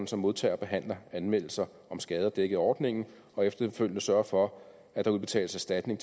som modtager og behandler anmeldelser om skader dækket af ordningen og efterfølgende sørger for at der udbetales erstatning